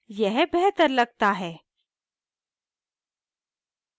यह बेहतर लगता है